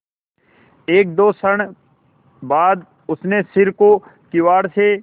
एकदो क्षण बाद उसने सिर को किवाड़ से